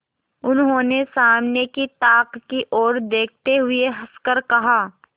उन्होंने सामने की ताक की ओर देखते हुए हंसकर कहा